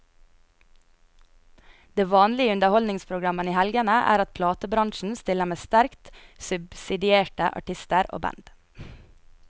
Det vanlige i underholdningsprogrammene i helgene er at platebransjen stiller med sterkt subsidierte artister og band.